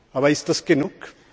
Aber ist das genug?